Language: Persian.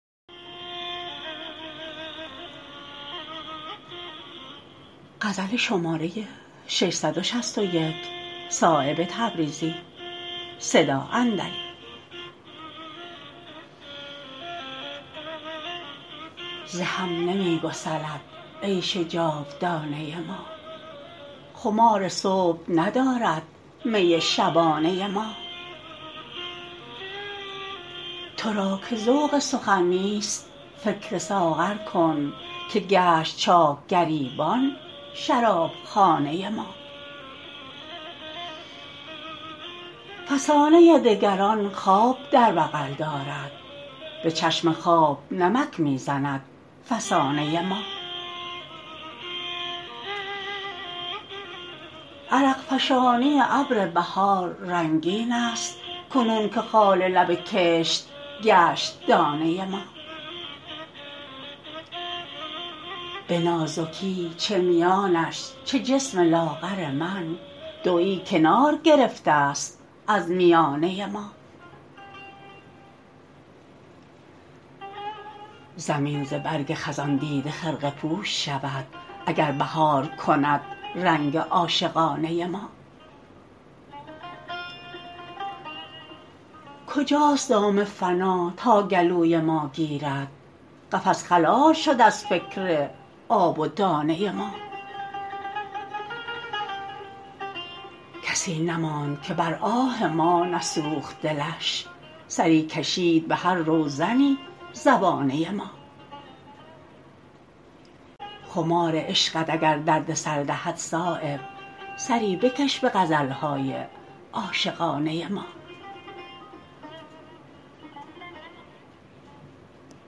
ز هم نمی گسلد عیش جاودانه ما خمار صبح ندارد می شبانه ما ترا که ذوق سخن نیست فکر ساغر کن که گشت چاک گریبان شرابخانه ما فسانه دگران خواب در بغل دارد به چشم خواب نمک می زند فسانه ما عرق فشانی ابر بهار رنگین است کنون که خال لب کشت گشت دانه ما به ناز کی چه میانش چه جسم لاغر من دویی کناره گرفته است از میانه ما زمین ز برگ خزان دیده خرقه پوش شود اگر بهار کند رنگ عاشقانه ما کجاست دام فنا تا گلوی ما گیرد قفس خلال شد از فکر آب و دانه ما کسی نماند که بر آه ما نسوخت دلش سری کشید به هر روزنی زبانه ما خمار عشقت اگر دردسر دهد صایب سری بکش به غزل های عاشقانه ما